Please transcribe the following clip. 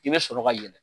I bɛ sɔrɔ ka yɛlɛ